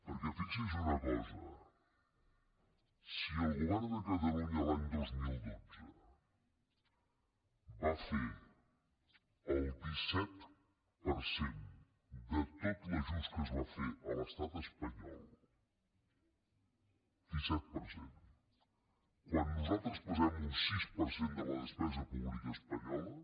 perquè fixi’s en una cosa si el govern de catalunya l’any dos mil dotze va fer el disset per cent de tot l’ajust que es va fer a l’estat espanyol disset per cent quan nosaltres pesem un sis per cent de la despesa pública espanyola